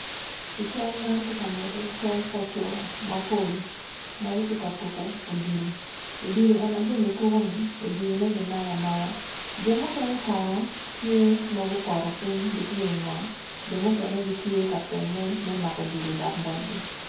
I cal man tye ka nyuto cal pa coo mapol, magitye ka tuko odilo, odilo eni ajoni tuko ni odilo ne gi mayo amaya jo mukene kono tye magupoto ping gitye i ngom jp ,ileme gitye ka teme me mako odilo odok botgi.